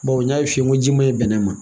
Bawo n y'a f'i ye n ko ji ma ɲi bɛnɛ ma